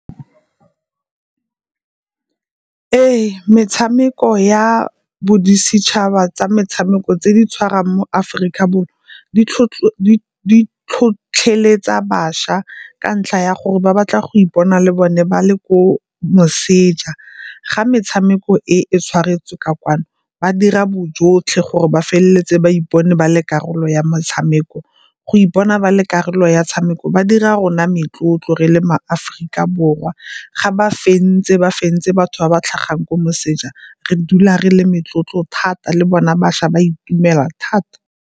Ee, metshameko ya bodisetšhaba tsa metshameko tse di tshwarang mo Aforika Borwa di tlhotlheletsa bašwa ka ntlha ya gore ba batla go ipona le bone ba le ko moseja, ga metshameko e e tshwaretswe ka kwano ba dira bojotlhe gore ba feleletse ba ipone ba le karolo ya motshameko. Go ipona ba le karolo ya 'tshameko ba dira rona metlotlo re le maAforika Borwa ga ba fentse, ba fentse batho ba ba tlhagang kwa moseja re dula re le metlotlo thata le bona bašwa ba itumela thata.